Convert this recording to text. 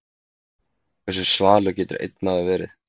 Hversu svalur getur einn maður verið?